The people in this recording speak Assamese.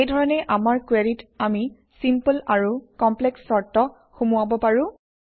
এই ধৰণে আমাৰ কুৱেৰিত আমি চিম্পল আৰু কমপ্লেক্স চৰ্ত সুমুৱাব পাৰোঁ